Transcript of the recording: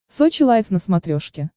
сочи лайф на смотрешке